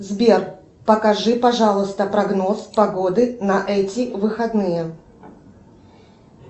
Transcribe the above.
сбер покажи пожалуйста прогноз погоды на эти выходные